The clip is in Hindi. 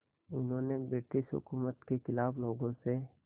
उन्होंने ब्रिटिश हुकूमत के ख़िलाफ़ लोगों से